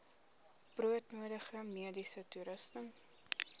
broodnodige mediese toerusting